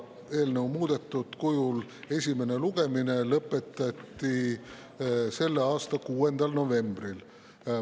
Eelnõu esimene lugemine lõpetati selle aasta 6. novembril.